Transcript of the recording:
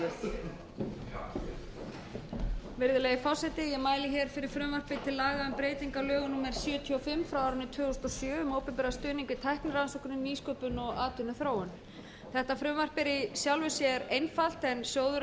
laga um breytingu á lögum númer sjötíu og fimm tvö þúsund og sjö um opinberan stuðning við tæknirannsóknir nýsköpun og atvinnuþróun þetta frumvarp er í sjálfu sér einfalt sjóðuirinn hefur